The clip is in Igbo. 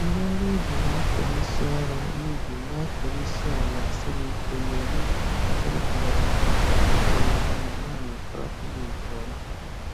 Ndị ọrụ ubi na-akụrisị ọrụ ubi na-akụrisị ala siri ike, na-eme ka ọ dịrị mgbọrọgwụ mfe itolite ma na-amịkọrọ nri nke ọma.